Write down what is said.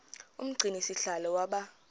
umgcini sihlalo waba